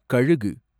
கழுகு